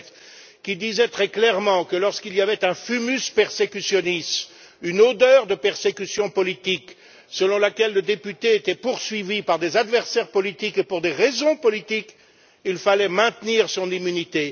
Donnez qui disait très clairement que lorsqu'il y avait un fumus persecutionis une odeur de persécution politique, selon laquelle le député était poursuivi par des adversaires politiques et pour des raisons politiques, il fallait maintenir son immunité.